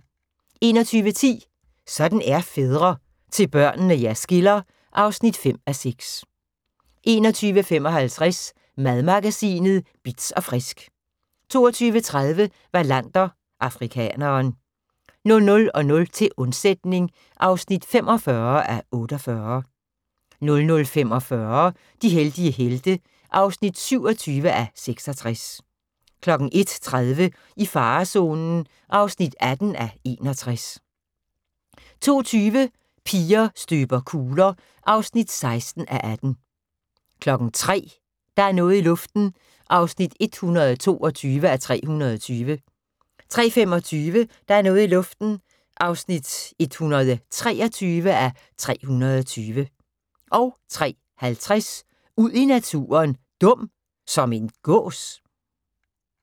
21:10: Sådan er fædre - til børnene jer skiller (5:6) 21:55: Madmagasinet Bitz & Frisk 22:30: Wallander: Afrikaneren 00:00: Til undsætning (45:48) 00:45: De heldige helte (27:66) 01:30: I farezonen (18:61) 02:20: Piger støber kugler (16:18) 03:00: Der er noget i luften (122:320) 03:25: Der er noget i luften (123:320) 03:50: Ud i naturen: Dum – som en gås?